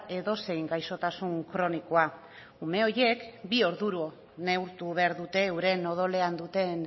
edozein gaixotasun kronikoa ume horiek bi orduro neurtu behar dute euren odolean duten